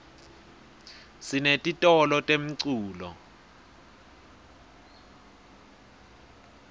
sinetitolo temculo